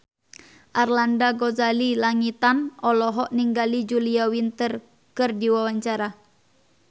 Arlanda Ghazali Langitan olohok ningali Julia Winter keur diwawancara